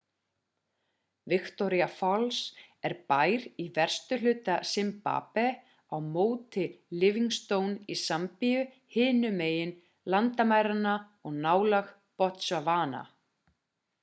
victoria falls er bær í vestuhluta zimbabwe á móti livingstone í zambíu hinum megin landamæranna og nálægt botswana